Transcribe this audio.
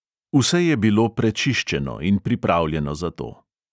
Vse je bilo prečiščeno in pripravljeno za to.